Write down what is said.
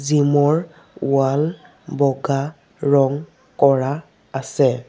Gym ৰ wall বগা ৰং কৰা আছে।